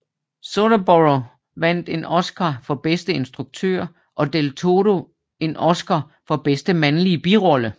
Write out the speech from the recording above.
Soderborgh vandt en Oscar for bedste instruktør og del Toro en Oscar for bedste mandlige birolle